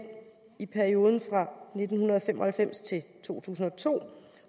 i perioden nitten fem og halvfems til to tusind og to